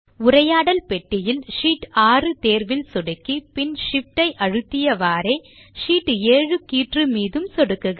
உரையாடல் பெட்டியில் ஷீட் 6 தேர்வில் சொடுக்கி பின் Shift ஐ அழுத்தியவாறே ஷீட் 7 கீற்று மீதும் சொடுக்குக